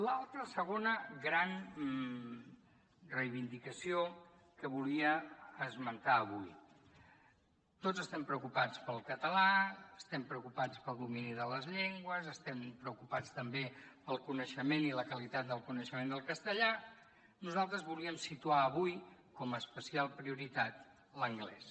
l’altra segona gran reivindicació que volia esmentar avui tots estem preocupats pel català estem preocupats pel domini de les llengües estem preocupats també pel coneixement i la qualitat del coneixement del castellà nosaltres volíem situar avui com a especial prioritat l’anglès